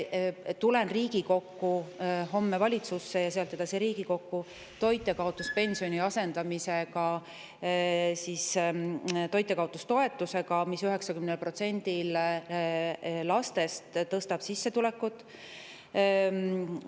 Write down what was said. Homme lähen valitsusse ja sealt edasi tulen Riigikokku asendada toitjakaotuspension toitjakaotustoetusega, mis tõstab sissetulekut 90%‑l lastest.